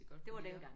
Det var dengang